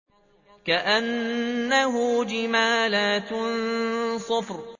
كَأَنَّهُ جِمَالَتٌ صُفْرٌ